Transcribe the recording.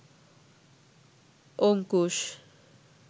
Ankush